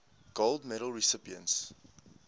gold medal recipients